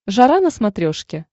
жара на смотрешке